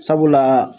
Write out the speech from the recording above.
Sabula